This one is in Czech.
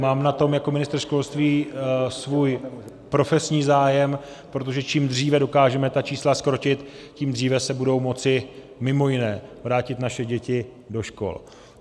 Mám na tom jako ministr školství svůj profesní zájem, protože čím dříve dokážeme ta čísla zkrotit, tím dříve se budou moci mimo jiné vrátit naše děti do škol.